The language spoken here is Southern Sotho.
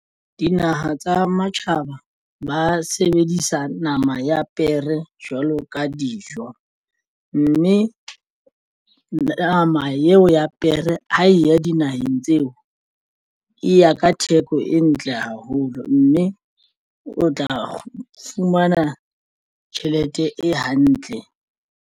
Dinaha tsa matjhaba ba sebedisa nama ya pere jwalo ka dijo, mme nama eo ya pere ho ya dinaheng tseo e ya ka theko e ntle haholo mme o tla fumana tjhelete e hantle.